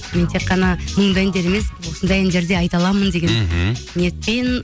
мен тек қана мұңды әндер емес осындай әндер де айта аламын деген мхм ниетпен